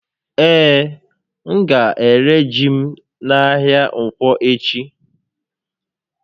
Ee, m ga-éré ji m n'ahịa Ǹkwọ echi